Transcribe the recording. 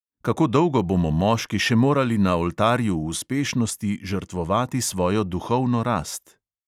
Kako dolgo bomo moški še morali na oltarju uspešnosti žrtvovati svojo duhovno rast?